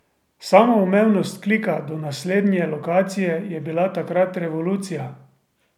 Samoumevnost klika do naslednje lokacije je bila takrat revolucija.